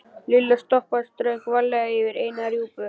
Lilla stoppaði og strauk varlega yfir eina rjúpuna.